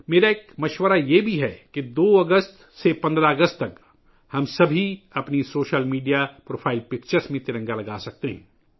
میرا یہ بھی مشورہ ہے کہ 2 اگست سے 15 اگست تک ہم سب اپنی سوشل میڈیا پروفائل تصویروں میں ترنگا لگا سکتے ہیں